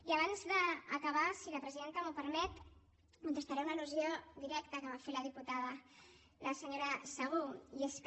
i abans d’acabar si la presidenta m’ho permet contestaré una al·lusió directa que m’ha fet la diputada la senyora segú i és que